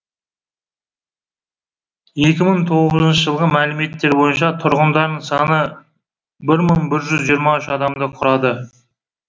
екі мың тоғызыншы жылғы мәліметтер бойынша тұрғындарының саны бір мың бір жүз жиырма үш адамды құрады